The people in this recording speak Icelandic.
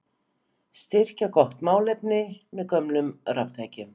Styrkja gott málefni með gömlum raftækjum